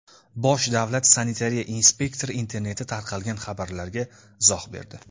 Bosh davlat sanitariya inspektori internetda tarqalgan xabarlarga izoh berdi.